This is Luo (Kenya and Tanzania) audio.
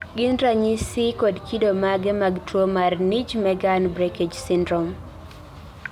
gin ranyisi kod kido mage mag tuwo mar Nijmegen breakage syndrome?